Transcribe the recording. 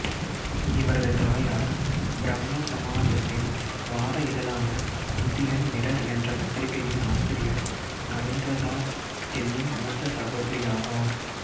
இவரது தாயார் பிரம்ம சமாஜத்தின் வார இதழான இந்தியன் மிரர் என்ற பத்திரிகையின் ஆசிரியர் நரேந்திரநாத் சென்னின் மூத்த சகோதரியாவார்